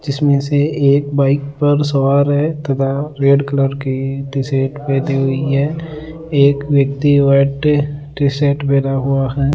जिसमें से एक बाइक पर सवार है तथा रेड कलर की टी शर्ट पहनी हुई है एक व्यक्ति व्हाइट टी शर्ट पहना हुआ है।